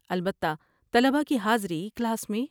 البتہ طلباء کی حاضری کلاس میں